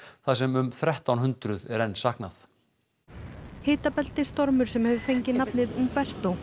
þar sem um þrettán hundruð er enn saknað sem hefur fengið nafnið Humberto